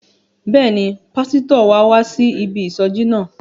Bẹ́ẹ̀ni, pásítọ̀ wa wá sí ibi ìsọjí náà.